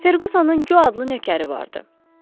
Ferqusonun Co adlı nökəri vardı.